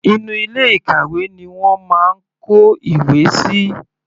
Inú ilé ìkàwé ni wọ́n máa ń kó ìwé síi.